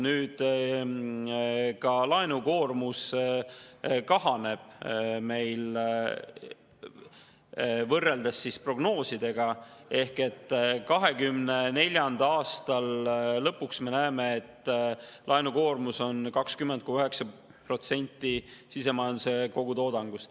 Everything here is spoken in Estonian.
Nüüd, ka laenukoormus võrreldes prognoosidega kahaneb: me näeme, et 2024. aasta lõpuks on laenukoormus 20,9% sisemajanduse kogutoodangust.